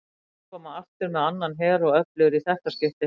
Þeir munu koma aftur með annan her og öflugri í þetta skiptið!